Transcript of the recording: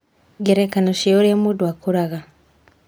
Ngerekano cia ũrĩa mũndũ akũraga: